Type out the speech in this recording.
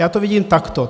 Já to vidím takto.